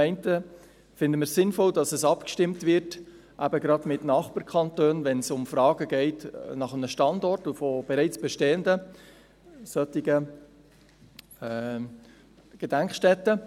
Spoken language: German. Zum einen finden wir es sinnvoll, dass eben gerade mit Nachbarkantonen abgestimmt wird, wenn es um Fragen des Standorts geht und bereits bestehende solche Gedenkstätten.